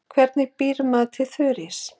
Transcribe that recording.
Hvernig býr maður til þurrís?